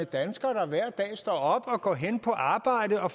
danskere der hver dag står op og går hen på arbejde og